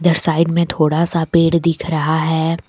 इधर साइड में थोड़ा सा पेड़ दिख रहा है।